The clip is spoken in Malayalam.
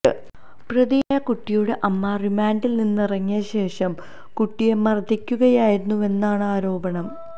പ്രതിയായ കുട്ടിയുടെ അമ്മ റിമാന്ഡില് നിന്നിറങ്ങിയ ശേഷം കുട്ടിയെ മര്ദ്ദിക്കുകയായിരുന്നുവെന്നാണ് ആരോപണം